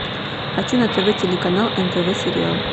хочу на тв телеканал нтв сериал